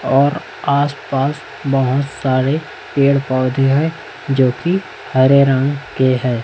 और आस पास बहुत सारे पेड़ पौधे हैं जो की हरे रंग के है।